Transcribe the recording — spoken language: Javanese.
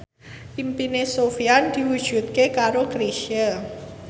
impine Sofyan diwujudke karo Chrisye